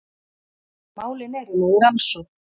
Málin eru nú í rannsókn